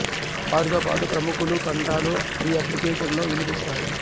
వారితో పాటు ప్రముఖుల కంఠాలు ఈ అప్లికేషన్ లో వినిపిస్తాయి